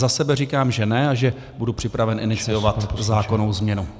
Za sebe říkám, že ne a že budu připraven iniciovat zákonnou změnu.